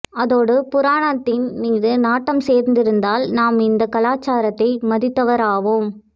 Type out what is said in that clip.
அதோடு புராணத்தின் மீது நாட்டம் சேர்ந்திருந்தால் நாம் இந்த கலாச்சாரத்தை மதித்தவராவோம்